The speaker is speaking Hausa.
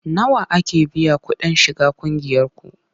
Nawa ake biya kuɗin shiga ƙungiyarku?